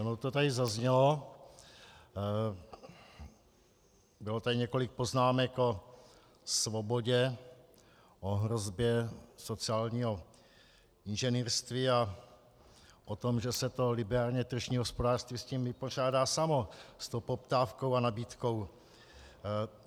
Ono to tady zaznělo, bylo tady několik poznámek o svobodě, o hrozbě sociálního inženýrství a o tom, že se to liberálně tržní hospodářství s tím vypořádá samo, s tou poptávkou a nabídkou.